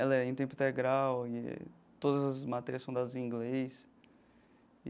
Ela é em tempo integral e todas as matérias são dadas em inglês.